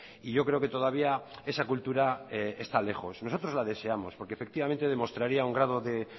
y yo creo que todavía esa cultura está lejos nosotros la deseamos porque efectivamente demostraría un grado de